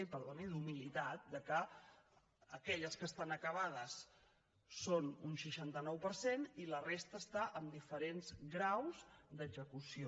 i perdoni d’humilitat del fet que aquelles que estan acabades són un seixanta nou per cent i la resta està en diferents graus d’execució